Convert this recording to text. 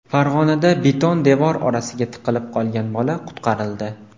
Farg‘onada beton devor orasiga tiqilib qolgan bola qutqarildi.